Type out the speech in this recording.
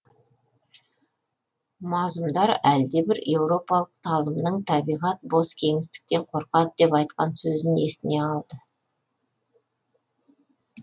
мазұмдар әлдебір еуропалық талымның табиғат бос кеңістіктен қорқады деп айтқан сөзін есіне алды